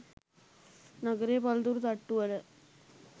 නගරයේ පලතුරු තට්ටුවල